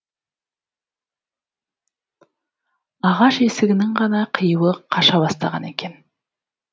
ағаш есігінің ғана қиюы қаша бастаған екен